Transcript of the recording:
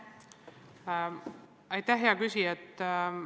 Aitäh, hea küsija!